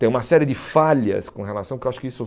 Tem uma série de falhas com relação que eu acho que isso.